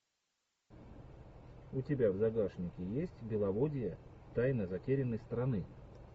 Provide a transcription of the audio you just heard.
у тебя в загашнике есть беловодье тайна затерянной страны